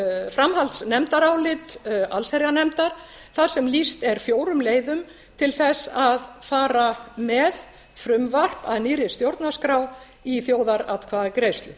framhaldsnefndarálit allsherjarnefndar þar sem lýst er fjórum leiðum til þess að fara með frumvarp að nýrri stjórnarskrá í þjóðaratkvæðagreiðslu